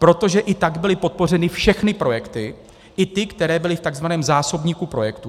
Protože i tak byly podpořeny všechny projekty, i ty, které byly v tzv. zásobníku projektů.